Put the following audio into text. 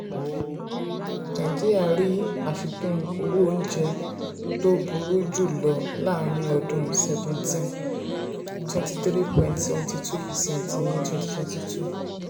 nàìjíríà rí àfikún owó oúnjẹ tó oúnjẹ tó burú jù lọ láàárín ọdún seventeen: twenty three point seven two percent ní twenty twenty two.